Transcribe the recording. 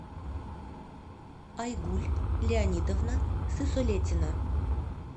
айгуль леонидовна сысолетина